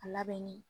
A labɛnni